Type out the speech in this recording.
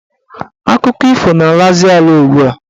Akụkọ ifo na-alazi ala ugbua.